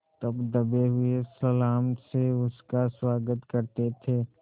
तब दबे हुए सलाम से उसका स्वागत करते थे